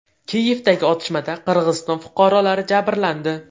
Kiyevdagi otishmada Qirg‘iziston fuqarolari jabrlandi.